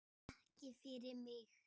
Ekki fyrir mig